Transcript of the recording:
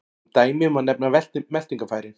Sem dæmi má nefna meltingarfærin.